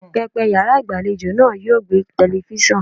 Pẹpẹ yàrá ìgbàlejò náà yóò gbẹ́ telifíṣàn.